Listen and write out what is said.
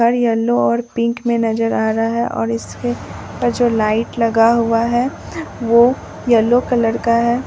घर येलो और पिंक में नजर आ रहा है और इसके ऊपर जो लाइट लगा हुआ है वो येलो कलर का है।